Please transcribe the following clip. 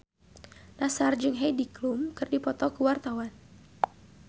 Nassar jeung Heidi Klum keur dipoto ku wartawan